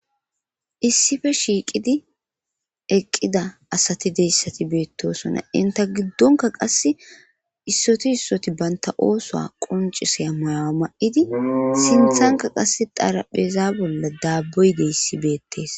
issife shiiqidi eqqida asati deyssati beettosona inta giddonka qasse issoti issoti banta oosoa quncisaya mayawa ma7idi sinthanka qasse darapheza bolla daabboyde issi beettees